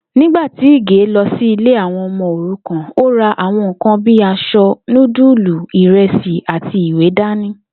Nígbà tí Ìgè lo̩ sí ilé àwo̩n o̩mo̩ òrukàn, ó ra àwo̩n nǹkan bíi as̩o̩, núdùlù, ìre̩sì àti ìwé dání